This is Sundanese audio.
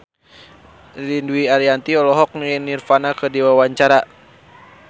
Ririn Dwi Ariyanti olohok ningali Nirvana keur diwawancara